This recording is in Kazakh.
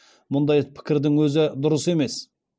мұндай пікірдің өзі дұрыс емес